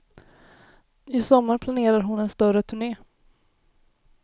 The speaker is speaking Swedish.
I sommar planerar hon en större turné.